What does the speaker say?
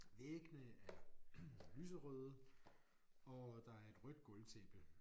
Væggene er lyserøde og øh der er et rødt gulvtæppe